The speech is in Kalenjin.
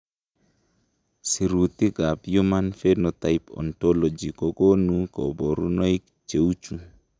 Sirutikab Human Phenotype Ontology kokonu koborunoik cheuchu.